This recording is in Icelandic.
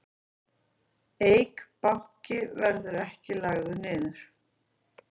Eik Banki verði ekki lagður niður